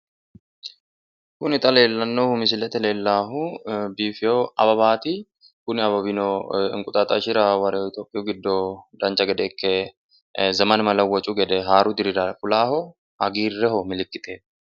kuni xa misilete leellannohu biifino awawaati kunino inquxaaxashira woreeho itiyopiyu giddo dancha gede ikke inde zemen melewoccu gedeikke fulaaho hagiirreho milikkiteho.